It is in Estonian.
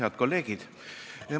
Head kolleegid!